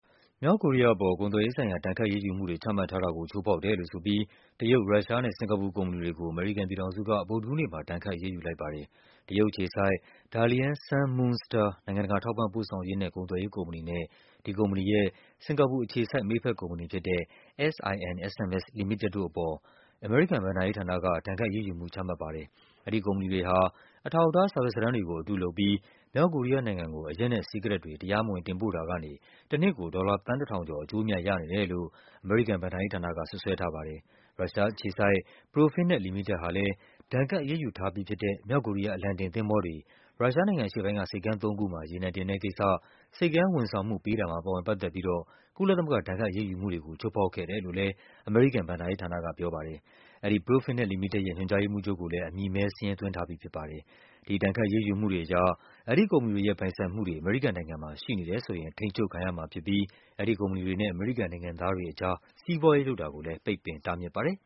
မြောက်ကိုရီးယားအပေါ် ကုန်သွယ်ရေးဆိုင်ရာ ဒဏ်ခတ်အရေးယူမှုတွေ ချမှတ်ထားတာကို ချိုးဖောက်တယ်လို့ဆိုပြီး တရုတ်၊ ရုရှားနဲ့ စင်္ကာပူကုမ္ပဏီတွေကို အမေရိကန်ပြည်ထောင်စုက ဗုဒ္ဓဟူးနေ့မှာ ဒဏ်ခတ်အရေးယူလိုက်ပါတယ်။ တရုတ်အခြေစိုက် Dalian Sun Moon Star နိုင်ငံတကာ ထောက်ပံ့ပို့ဆောင်ရေးနဲ့ ကုန်သွယ်ရေးကုမ္ပဏီနဲ့ ဒီကုမ္ပဏီရဲ့ စင်္ကာပူ အခြေစိုက် မိတ်ဘက်ကုမ္ပဏီဖြစ်တဲ့ SINSMS လီမိတက်တို့အပေါ် အမေရိကန် ဘဏ္ဍာရေးဌာနက ဒဏ်ခတ်အရေးယူမှု ချမှတ်ပါ တယ်။ အဲဒီကုမ္ပဏီတွေဟာ အထောက်အထား စာရွက်စာတမ်းတွေကို အတုလုပ်ပြီး မြောက်ကိုရီးယားနိုင်ငံကို အရက်နဲ့ စီးကရက်တွေ တရားမဝင်တင်ပို့တာကနေ တနှစ်ကို ဒေါ်လာ သန်း ၁,၀၀၀ ကျော် အကျိုးအမြတ်ရနေတယ်လို့ အမေရိကန် ဘဏ္ဍာရေးဌာနက စွပ်စွဲထားပါတယ်။ ရုရှားအခြေစိုက် Profinet လီမိတက်ဟာလည်း ဒဏ်ခတ်အရေးယူထားပြီးဖြစ်တဲ့ မြောက်ကိုရီးယားအလံတင်သင်္ဘောတွေ ရုရှား နိုင်ငံအရှေ့ပိုင်းက ဆိပ်ကမ်းသုံးခုမှာ ရေနံတင်တဲ့ကိစ္စ ဆိပ်ကမ်းဝန်ဆောင်မှုပေးတာမှာ ပါဝင်ပတ်သက်ပြီးတော့ ကုလသမဂ္ဂ ဒဏ်ခတ်အရေးယူမှုတွေကို ချိုးဖောက်ခဲ့တယ်လို့လည်း အမေရိကန် ဘဏ္ဍာရေးဌာနကပြောပါတယ်။ အဲဒီ Profinet လီမိတက်ရဲ့ ညွှန်ကြားရေးမှူးချုပ်ကိုလည်း အမည်မည်းစာရင်း သွင်းထားပြီးဖြစ်ပါတယ်။ ဒီ ဒဏ်ခတ်အရေးယူမှုတွေအရ အဲဒီကုမ္ပဏီတွေရဲ့ ပိုင်ဆိုင်မှုတွေ အမေရိကန်နိုင်ငံမှာ ရှိနေတယ်ဆိုရင် ထိန်းချုပ်ခံရမှာဖြစ်ပြီး အဲဒီကုမ္ပဏီတွေနဲ့ အမေရိကန်နိုင်ငံသားတွေကြား စီးပွားရေးလုပ်တာကိုလည်း ပိတ်ပင်တားမြစ်ပါတယ်